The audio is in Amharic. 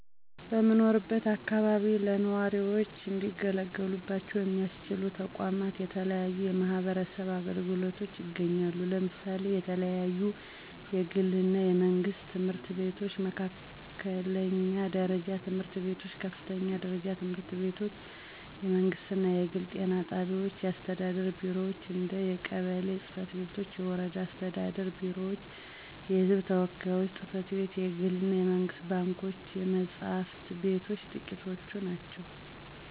በምኖርበት አከባቢ ለነዋሪዎች እንዲገለገሉባቸው ሚያስችሉ ተቋማት የተለያዩ የማህበረሰብ አገልግሎቶች ይገኛሉ። ለምሳሌ የተለያዩ የግል እና የመንግስት ትምህርት ቤቶች፣ መካከለኛ ደረጃ ትምህርት ቤቶች፣ ከፍተኛ ደረጃ ትምህርት ቤቶች፣ የመንግስት እና የግል ጤና ጣቢያዎች፣ የአስተዳደር ቢሮዎች እንደ የቀበሌ ፅ/ቤቶች፤ የወረዳ አስተዳደር ቢሮዎች፤ የህዝብ ተወካዮች ጽ/ቤት፣ የግል እና የመንግስት ባንኮች፣ የመፅሐፍት ቤቶች ጥቂቶቹ ናቸው።